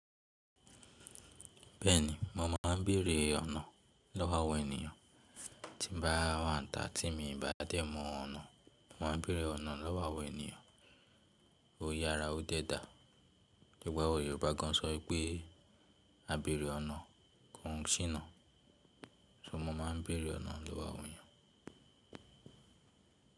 Bẹ́ẹ̀ ni, mo má a ń bèrè ọ̀nà lọ́wọ́ àwọn ènìyàn tí n bá wa n tá tí mi ò bá dé mọ ọ̀nà. Mo ma ń bèrè ọ̀nà lọ́wọ́ ènìyàn. Oyara ó dẹ́ dàá. Òwe àwọn Yorùbá gan sọ pé á bèrè ọ̀nà kò n sína. So mo ma ń bèrè ọ̀nà lọ́wọ́ àwọn ènìyàn.